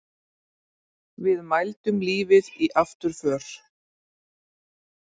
Við mældum lífið í afturför.